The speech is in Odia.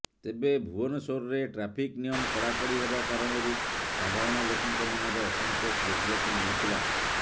ତେବେ ଭୁବନେଶ୍ୱରରେ ଟ୍ରାଫିକ ନିୟମ କଡାକଡି ହେବା କାରଣରୁ ସାଧାରଣ ଲୋକଙ୍କ ମନରେ ଅସନ୍ତୋଷ ଦେଖିବାକୁ ମିଳିଥିଲା